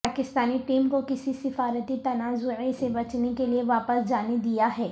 Pakistani team کو کسی سفارتی تنازعے سے بچنے کے لیے واپس جانے دیا ہے